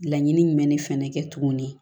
Laɲini jumɛn de fana kɛ tuguni